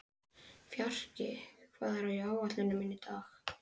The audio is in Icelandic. Fjarki, hvað er á áætluninni minni í dag?